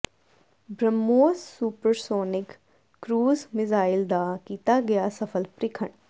BrahMos supersonic cruise missile ਦਾ ਕੀਤਾ ਗਿਆ ਸਫਲ ਪ੍ਰੀਖਣ